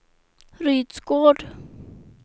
Rydsgård